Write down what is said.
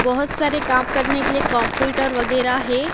बहोत सारे काम करने के लिए कंप्यूटर वगैरा है।